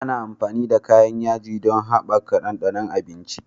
Ana amfani da kayan yaji don haɓaka ɗanɗanon abinci.